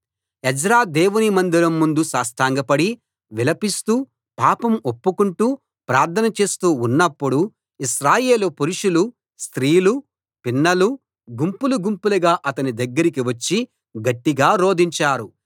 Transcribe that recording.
Ezra దేవుని మందిరం ముందు సాష్టాంగపడి విలపిస్తూ పాపం ఒప్పుకొంటూ ప్రార్థన చేస్తూ ఉన్నప్పుడు ఇశ్రాయేలు పురుషులు స్త్రీలు పిన్నలూ గుంపులు గుంపులుగా అతని దగ్గరికి వచ్చి గట్టిగా రోదించారు